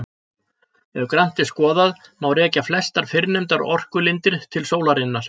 Ef grannt er skoðað má rekja flestar fyrrnefndar orkulindir til sólarinnar.